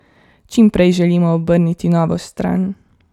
Čim prej želimo obrniti novo stran.